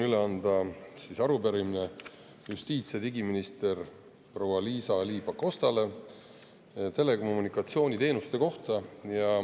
Mul on üle anda arupärimine justiits- ja digiminister proua Liisa-Ly Pakostale telekommunikatsiooniteenuste kohta.